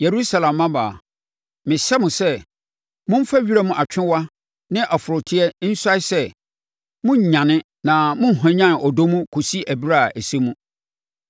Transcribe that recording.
Yerusalem mmammaa mehyɛ mo sɛ, Momfa wiram atwewa ne ɔforoteɛ nsuae sɛ morennyane na morenhwanyane ɔdɔ mu kɔsi ɛberɛ a ɛsɛ mu.